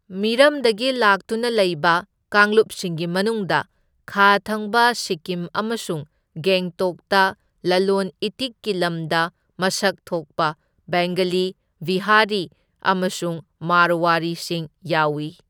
ꯃꯤꯔꯝꯗꯒꯤ ꯂꯥꯛꯇꯨꯅ ꯂꯩꯕ ꯀꯥꯡꯂꯨꯞꯁꯤꯡꯒꯤ ꯃꯅꯨꯡꯗ ꯈꯥ ꯊꯪꯕ ꯁꯤꯛꯀꯤꯝ ꯑꯃꯁꯨꯡ ꯒꯦꯡꯇꯣꯛꯇ ꯂꯂꯣꯟ ꯏꯇꯤꯛꯀꯤ ꯂꯝꯗ ꯃꯁꯛ ꯊꯣꯛꯄ ꯕꯦꯡꯒꯂꯤ, ꯕꯤꯍꯥꯔꯤ ꯑꯃꯁꯨꯡ ꯃꯥꯔꯋꯥꯔꯤꯁꯤꯡ ꯌꯥꯎꯢ꯫